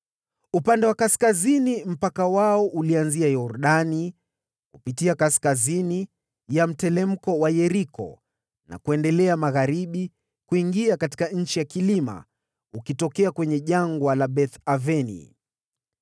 Upande wa kaskazini mpaka wao ulianzia pale Yordani, kupitia kaskazini ya mteremko wa Yeriko na kuendelea magharibi kuingia katika nchi ya vilima, ukitokea kwenye jangwa la Beth-Aveni.